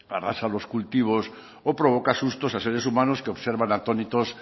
arrasa los cultivos o provoca sustos a seres humanos que observan atónitos